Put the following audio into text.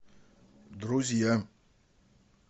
друзья